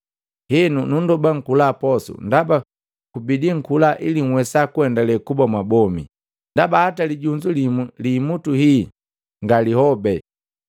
Henu, nundoba nkula posu ndaba kubidi nkula ili nhwesa kuendale kuba mwabomi. Ndaba hata lijunzu limu liimutu hii nga lihobe.”